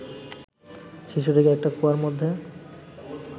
শিশুটিকে একটা কুয়ার মধ্যে